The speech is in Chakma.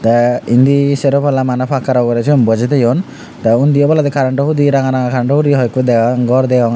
te indi sero palla mane pakkaro uguri sigun bojey thoyun the undi oboladi current o hudi ranga ranga karento hudi hoi ekku degong ghor degong aro.